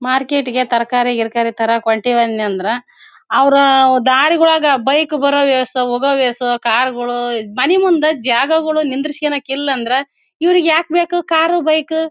ಮಾರ್ಕೆಟ್ಗೆ ತರಕಾರಿ ಗಿರಾಕಾರಿ ತರಕ್ ಹೊಂಟ್ಟಿವಿ ಅಂದ್ರೆ ಅವ್ರು ದಾರಿ ಒಳಗ ಬೈಕ್ ಬರೋ ವೇಸ್ ಹೋಗೋ ವೇಸ್ ಕಾರ್ ಗಳು ಮನೆ ಮುಂದೆ ಜಾಗಗಳು ನಿಂದ್ರಿಸಿಕೊಳಕ್ಕೆ ಇಲ್ಲಾಂದ್ರೆ ಇವರ್ಗೆ ಯಾಕ್ ಬೇಕು ಕಾರ್ ಬೈಕ್ .